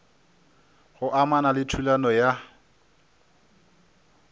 go amana le thulano ya